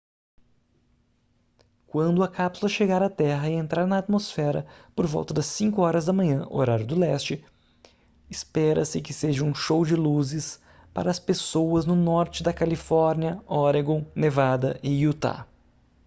quando a cápsula chegar à terra e entrar na atmosfera por volta das 5 horas da manhã horário do leste espera-se que seja um show de luzes para as pessoas no norte da califórnia oregon nevada e utah